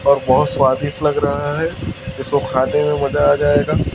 और बहोत स्वादिष्ट लग रहा है इसको खानें में मजा आ जाएगा।